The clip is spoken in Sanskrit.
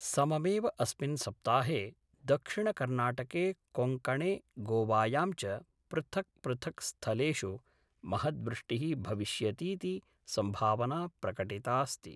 सममेव अस्मिन् सप्ताहे दक्षिणकर्णाटके कोङ्कणे गोवायां च पृथक् पृथक् स्थलेषु महद्वृष्टि: भविष्यतीति संभावना प्रकटितास्ति।